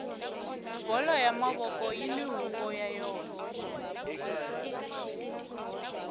bolo ya mavoko yini huvo ya yona